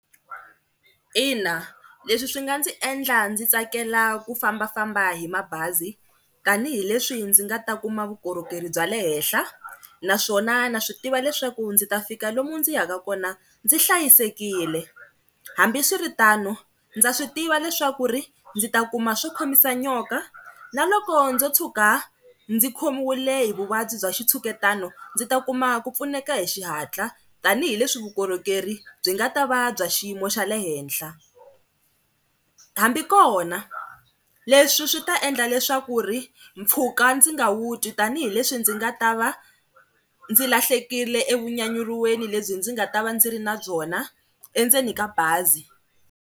Ina, leswi swi nga ndzi endla ndzi tsakela ku fambafamba hi mabazi tanihileswi ndzi nga ta kuma vukorhokeri bya le henhla naswona na swi tiva leswaku ndzi ta fika lomu ndzi ya ka kona ndzi hlayisekile. Hambi swiri tano ndza swi tiva leswaku ri ndzi ta kuma swo khomisa nyoka na loko ndzo tshuka ndzi khomiwile hi vuvabyi bya xitshuketano ndzi ta kuma ku pfuneka hi xihatla tanihileswi vukorhokeri byi nga ta va bya xiyimo xa le henhla. Hambi kona, leswi swi ta endla leswaku ri mpfhuka ndzi nga wu twi tanihileswi ndzi nga ta va ndzi lahlekile evunyanyuriweni lebyi ndzi nga ta va ndzi ri na byona endzeni ka bazi.